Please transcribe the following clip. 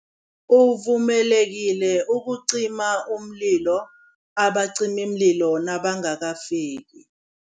Uvumelekile ukucima umlilo abacimimlilo nabangakafiki.